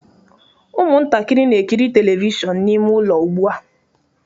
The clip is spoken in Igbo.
Ụmụntakịrị na-ekiri telivishọn n'ime ụlọ ugbu a